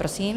Prosím.